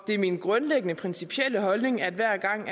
det er min grundlæggende principielle holdning at hver gang